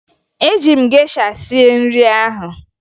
Eji m gesha sie nri ahụ